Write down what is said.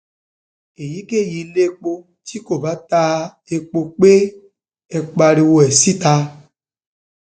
èyíkéyìí iléepo tí kò bá ta um epo pé ẹ pariwo um ẹ síta